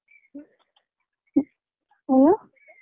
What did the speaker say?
ಹ.